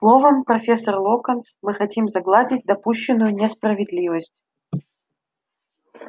словом профессор локонс мы хотим загладить допущенную несправедливость